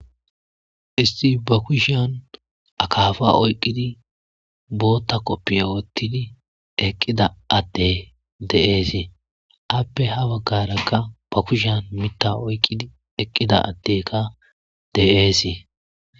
Issi ba kushiyan akaafaa oyqqidi booththa koppiyiya woththidi eqqida addee de7eesi; appe ha baggaara qa ba hkushiyan miththaa oyqqidi eqqida addeeka de7eesi.